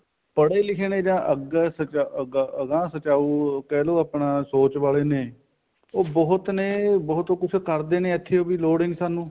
ਪੜ੍ਹੇ ਲਿਖੇ ਨੇ ਨਾ ਅੱਗੇ ਅਗਾਂਹ ਸਚਾਉ ਕਹਿਲੋ ਆਪਣਾ ਸੋਚ ਵਾਲੇ ਨੇ ਉਹ ਬਹੁਤ ਨੇ ਬਹੁਤ ਕੁੱਝ ਕਰਦੇ ਨੇ ਵੀ ਲੋੜ ਹੀ ਨੀ ਸਾਨੂੰ